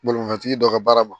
Bolimafɛntigi dɔ ka baara ma